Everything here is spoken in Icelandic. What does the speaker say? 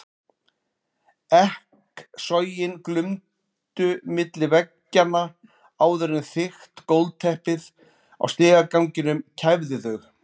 Ekkasogin glumdu milli veggjanna áður en þykkt gólfteppið á stigaganginum kæfði þau.